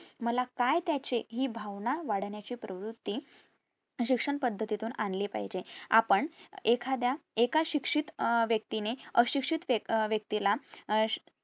मला काय त्याचे हि भावना वाढण्याची प्रवृत्ती शिक्षण पद्धती तुन आणली पाहिजे आपण एखाद्या एका शिक्षित अह व्यक्ती ने अशिक्षित अह व्यक्तीला अं